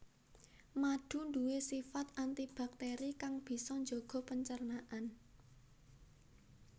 Madu nduwe sifat anti baktéri kang bisa njaga pencernaan